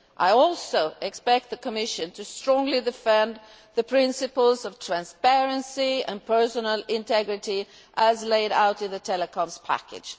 I also expect the Commission to strongly defend the principles of transparency and personal integrity, as laid out in the telecoms package.